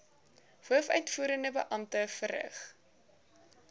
hoofuitvoerende beampte verrig